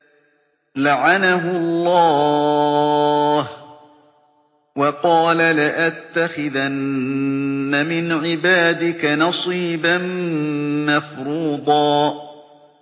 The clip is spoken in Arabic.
لَّعَنَهُ اللَّهُ ۘ وَقَالَ لَأَتَّخِذَنَّ مِنْ عِبَادِكَ نَصِيبًا مَّفْرُوضًا